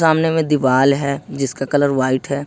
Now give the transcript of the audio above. सामने में दीवाल है जिसका कलर व्हाइट है।